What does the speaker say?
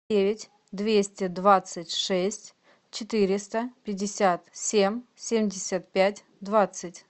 девять двести двадцать шесть четыреста пятьдесят семь семьдесят пять двадцать